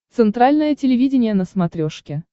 центральное телевидение на смотрешке